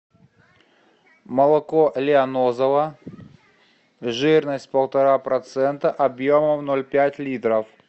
молоко лианозово жирность полтора процента объемом ноль пять литров